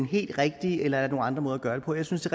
helt rigtige eller er nogle andre måder at gøre det på jeg synes det